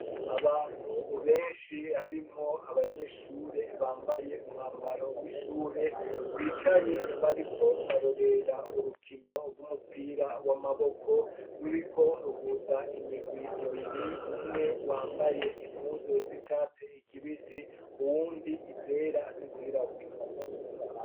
Abantu ubenshi harimwo abanyeshure bambaye umwambaro w'ishure bicaye bariko barorera urukino rw'umupira w'amaboko ruriko ruhuza imigwi ibiri umwe wambaye impuzo z'icatse ikibisi uwundi izera n'izirawura.